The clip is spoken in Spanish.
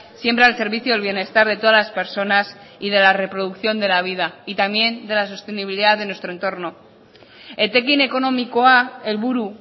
siempre al servicio del bienestar de todas las personas y de la reproducción de la vida y también de la sostenibilidad de nuestro entorno etekin ekonomikoa helburu